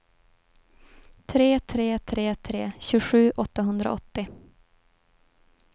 tre tre tre tre tjugosju åttahundraåttio